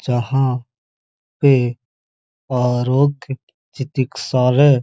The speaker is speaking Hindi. जहां पे आ चितिक्सालय --